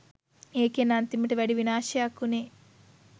ඒකෙන් අන්තිමට වැඩි විනාශයක් උනේ